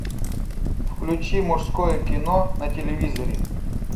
включи мужское кино на телевизоре